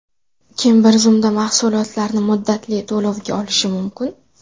Kim bir zumda mahsulotlarni muddatli to‘lovga olishi mumkin?